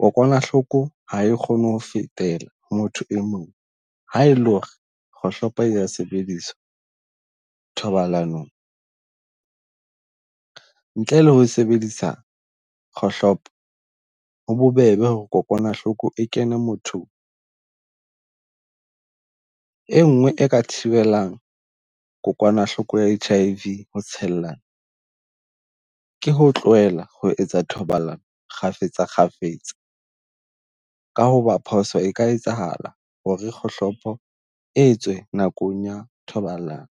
kokwanahloko ha e kgone ho fetela ho motho e mong ha e le ho re kgohlopo e ya sebediswa thobalanong. Ntle le ho e sebedisa kgohlopo, ho bobebe ho re kokwanahloko e kene mothong. E nngwe e ka thibelang kokwanahloko ya H_I_V ho tshellana ke ho tlohela ho etsa thobalano kgafetsa kgafetsa ka ho ba phoso e ka etsahala ho re kgohlopo etswe nakong ya thobalano.